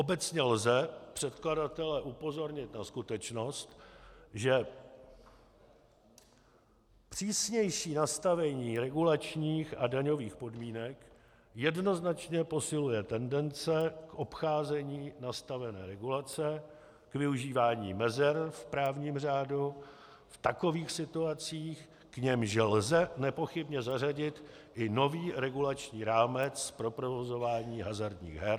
Obecně lze předkladatele upozornit na skutečnost, že přísnější nastavení regulačních a daňových podmínek jednoznačně posiluje tendence k obcházení nastavené regulace a k využívání mezer v právním řádu v takových situacích, k nimž lze nepochybně zařadit i nový regulační rámec pro provozování hazardních her...